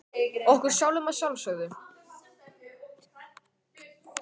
Okkur sjálfum að sjálfsögðu.